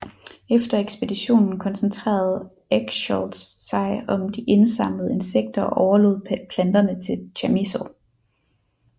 Efter ekspeditionen koncentrerede Eschscholtz sig om de indsamlede insekter og overlod planterne til Chamisso